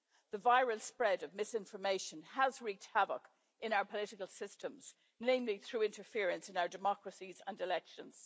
The viral spread of misinformation has wreaked havoc in our political systems, namely through interference in our democracies and elections.